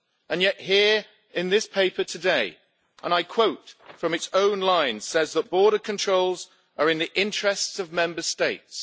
And yet here, in this paper today, and I quote from its own line, says that border controls are in the interests of Member States.